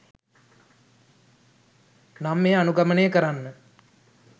නම් එය අනුගමනය කරන්න